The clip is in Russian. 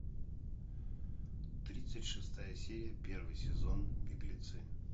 тридцать шестая серия первый сезон беглецы